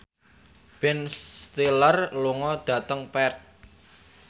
Ben Stiller lunga dhateng Perth